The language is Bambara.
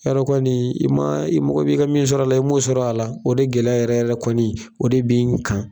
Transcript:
Yadɔ kɔni i ma i mɔgɔ bɛ i ka min sɔrɔ a la i m'o sɔrɔ a la o de gɛlɛya yɛrɛ yɛrɛ kɔni o de bi n kan.